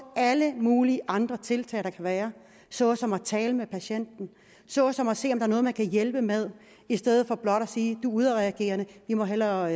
alle mulige andre tiltag der kan være såsom at tale med patienten såsom at se er noget man kan hjælpe med i stedet for blot at sige du er udadreagerende vi må hellere